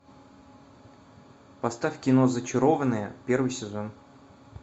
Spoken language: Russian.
поставь кино зачарованные первый сезон